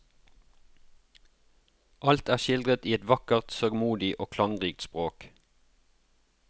Alt er skildret i et vakkert, sørgmodig og klangrikt språk.